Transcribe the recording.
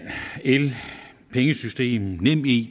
el pengesystemet nemid